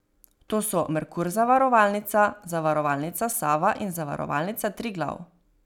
To so Merkur zavarovalnica, Zavarovalnica Sava in Zavarovalnica Triglav.